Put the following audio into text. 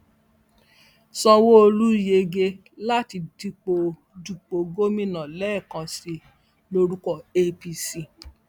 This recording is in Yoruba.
sanwóolu yege láti dúpọ dúpọ gómìnà lẹẹkan sí i lórúkọ apc